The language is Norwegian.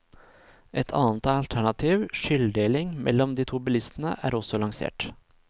Et annet alternativ, skylddeling mellom de to bilistene, er også lansert.